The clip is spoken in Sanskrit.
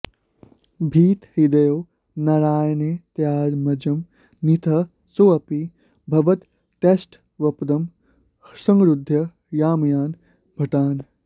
भीतहृदयो नारायणेत्यात्मजं नीतः सोऽपि भवद्भटैस्तवपदं संरुध्य याम्यान् भटान्